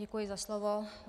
Děkuji za slovo.